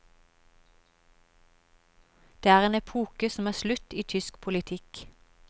Det er en epoke som er slutt i tysk politikk.